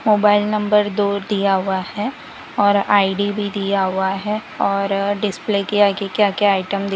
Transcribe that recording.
mobile number दो दिया हुआ है और आई_डी भी दिया हुआ है और डिस्प्ले के आगे क्या क्या आइटम --